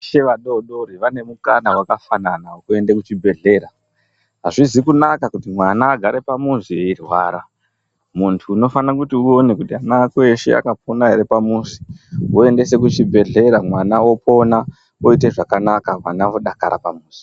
Veshe vadoodori vane mukana wakafana wekuende kuchibhedhlera. Azvizi kunaka kuti mwana agare pamuzi eirwara. Muntu unofana kuti uone kuti ana ako eshe akapona ere pamuzi woendese kuchibhedhlera mwana opona oite zvakanaka mwana odakara pamuzi.